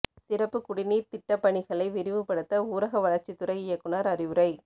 சிறப்பு குடிநீா்த் திட்டப் பணிகளை விரைவுபடுத்த ஊரக வளா்ச்சித் துறை இயக்குநா் அறிவுரை